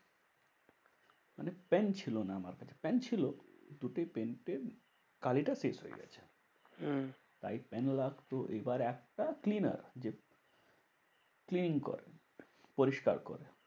মানে পেন ছিল না আমার কাছে। পেন ছিল দুটো পেনের কালী শেষ হয়ে গেছে। হম এবার একটা cleaner যে clean করে। পরিষ্কার করে।